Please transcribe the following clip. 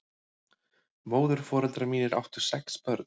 Móðurforeldrar mínir áttu sex börn.